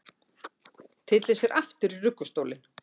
Tyllir sér aftur í ruggustólinn.